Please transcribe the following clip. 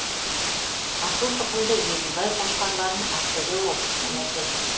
асылтұқымды еділбай қошқарларын ақтөбе облысынан әкелді